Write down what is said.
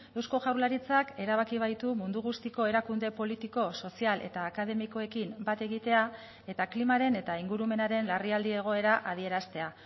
eusko jaurlaritzak erabaki baitu mundu guztiko erakunde politiko sozial eta akademikoekin bat egitea eta klimaren eta ingurumenaren larrialdi egoera adieraztea